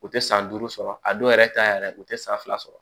U tɛ san duuru sɔrɔ a dɔw yɛrɛ ta yɛrɛ u tɛ san fila sɔrɔ